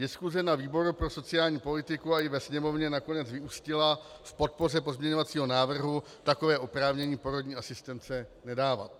Diskuse na výboru pro sociální politiku i ve Sněmovně nakonec vyústila v podpoře pozměňovacího návrhu takové oprávnění porodní asistence nedávat.